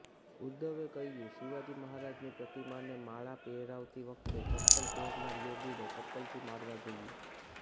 ઉદ્ધવે કહ્યુ શિવાજી મહારાજની પ્રતિમાને માળા પહેરાવતી વખતે ચપ્પલ પહેરનાર યોગીને ચપ્પલથી મારવા જોઈએ